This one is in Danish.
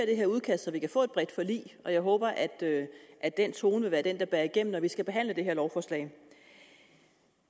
det her udkast så vi kan få et bredt forlig jeg håber at at den tone vil være den der bærer igennem når vi skal behandle det her lovforslag